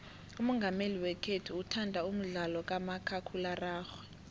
umongameli wekhethu uthanda umdlalo kamakhakhulararhwe